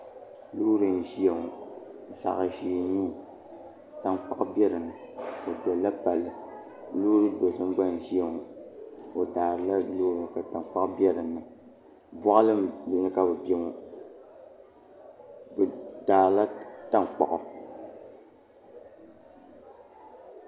Loori n ʒiya ŋo zaɣ ʒiɛ n nyɛli tankpaɣu bɛ dinni o dolla palli loori dozim gba n ʒiya ŋo o daarila loori ka tankpaɣu bɛ dinni boɣali ni ka bi biɛ ŋo bi daarila tankpaɣu